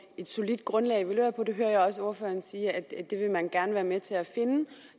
solidt grundlag at evaluere på det hører jeg også ordføreren sige at man gerne være med til at finde